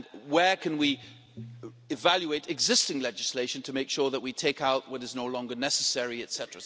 Where can we evaluate existing legislation to make sure that we take out what is no longer necessary etc.?